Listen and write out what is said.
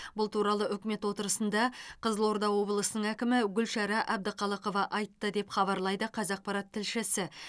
бұл туралы үкімет отырысында қызылорда облысының әкімі гүлшара әбдіқалықова айтты деп хабарлайды қазақпарат тлшісі